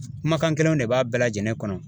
Kumakan kelenw de b'a bɛɛ lajɛlen kɔnɔ.